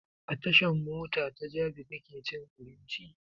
A tashan mota ta jabi kake cin abinci?